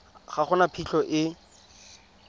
ga go na phitlho e